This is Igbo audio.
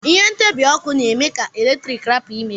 Ihe ntibi ọkụ na eme ka eletrik rapu imebi.